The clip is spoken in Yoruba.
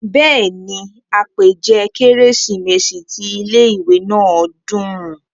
bẹ́ẹ̀ni, àpèjẹ kérésìmesì ti ilé ìwé náà dùn